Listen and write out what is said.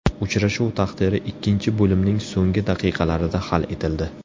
Uchrashuv taqdiri ikkinchi bo‘limning so‘nggi daqiqalarida hal etildi.